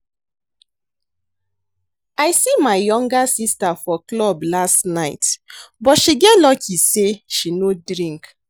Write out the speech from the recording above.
I see my younger sister for club last night but she get luck say she no drink